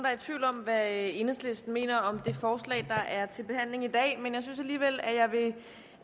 er i tvivl om hvad enhedslisten mener om det forslag der er til behandling i dag men jeg synes alligevel jeg vil